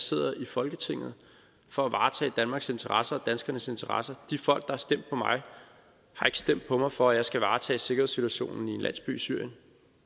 sidder i folketinget for at varetage danmarks interesser og danskernes interesser de folk der har stemt på mig har ikke stemt på mig for at jeg skal varetage sikkerhedssituationen i en landsby i syrien